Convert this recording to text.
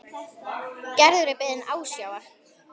Gerður er beðin ásjár.